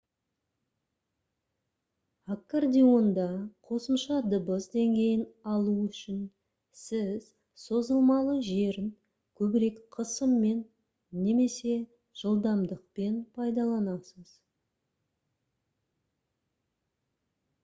аккордеонда қосымша дыбыс деңгейін алу үшін сіз созылмалы жерін көбірек қысыммен немесе жылдамдықпен пайдаланасыз